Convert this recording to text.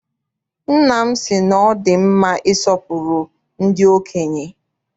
Nna m sị na ọ dị mma isọpụrụ ndị okenye.